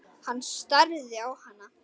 Hann starði á hann.